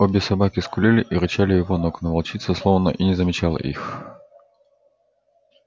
обе собаки скулили и рычали у его ног но волчица словно и не замечала их